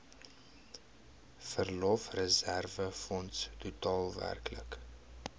verlofreserwefonds totaal werklik